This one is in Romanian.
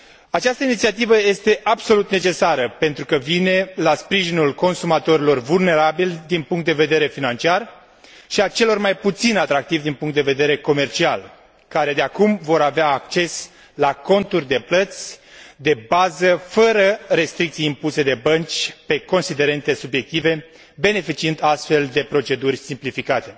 Această inițiativă este absolut necesară pentru că vine în sprijinul consumatorilor vulnerabili din punct de vedere financiar și a celor mai puțin atractivi din punct de vedere comercial, care de acum vor avea acces la conturi de plăți de bază, fără restricții impuse de bănci, pe considerente subiective, beneficiind, astfel, de proceduri simplificate.